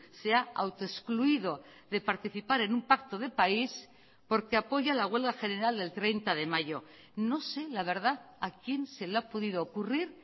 se ha autoexcluido de participar en un pacto de país porque apoya la huelga general del treinta de mayo no sé la verdad a quien se le ha podido ocurrir